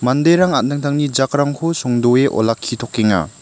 manderang an·tangtangni jakrangko songdoe olakkitokenga.